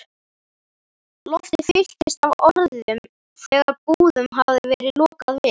Loftið fylltist af orðum, þegar búðum hafði verið lokað við